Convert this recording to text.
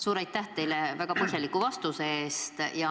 Suur aitäh teile väga põhjaliku vastuse eest!